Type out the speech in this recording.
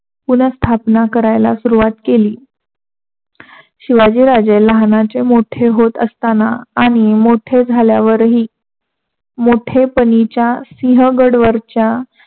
पुनर्स्थापना करायला सुरवात केली. शिवाजी राजे लहानाचे मोठे असताना आणि मोठे झाल्यावरही मोठपणीच्या शिहगडवरच्या